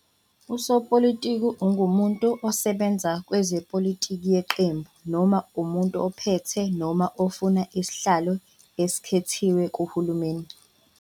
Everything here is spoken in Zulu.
Usopolitiki ungumuntu osebenza kwezepolitiki yeqembu, noma umuntu ophethe noma ofuna isihlalo esikhethiwe kuhulumeni.